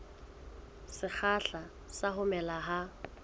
sekgahla sa ho mela ha